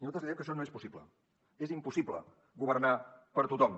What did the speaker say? nosaltres li diem que això no és possible és impossible governar per a tothom